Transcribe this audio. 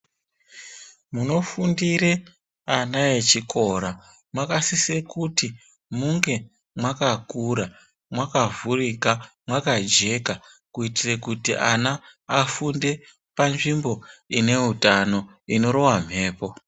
Munofundire ana echikora munosisa kuti munge makakura makavhurika mwakajeka kuitire kuti ana afunde panzvimbo ineutano inorova mhepo.